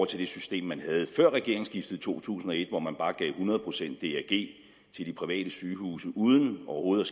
til det system man havde før regeringsskiftet i to tusind og et hvor man bare gav hundrede procent drg til de private sygehuse uden overhovedet